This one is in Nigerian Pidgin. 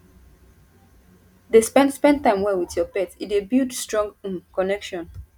dey spend spend time play with your pet e dey build strong um connection